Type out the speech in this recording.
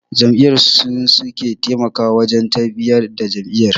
Ƴan jam'iyya su suke taimakawa wajen tafiyar da jam'iyya.